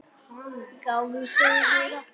Gáfuð, sagði Heiða.